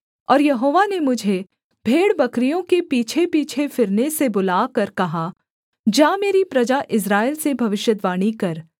और यहोवा ने मुझे भेड़बकरियों के पीछेपीछे फिरने से बुलाकर कहा जा मेरी प्रजा इस्राएल से भविष्यद्वाणी कर